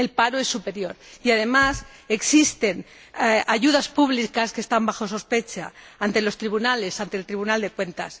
El paro es superior y, además, existen ayudas públicas que están bajo sospecha ante los tribunales, ante el Tribunal de Cuentas.